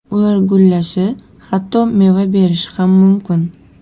Ular gullashi, hatto meva berishi ham mumkin.